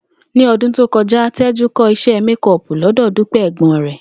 Ní o̩dún tó ko̩já, Té̩jú kó̩ isé̩ méko̩ò̩pù ló̩dò̩ Dúpé̩ è̩gbó̩n rè̩